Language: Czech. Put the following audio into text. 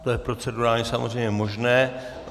To je procedurálně samozřejmě možné.